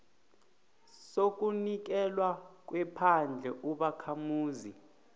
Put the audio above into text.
sokunikelwa kwephandle ubakhamuzi